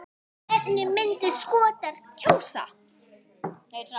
Hvernig myndu Skotar kjósa?